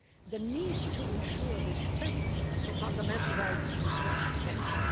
The need to ensure respect for fundamental rights is essential.